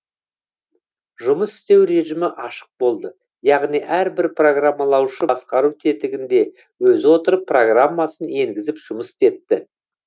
жұмыс істеу режімі ашық болды яғни әрбір программалаушы басқару тетігінде өзі отырып программасын енгізіп жұмыс істетті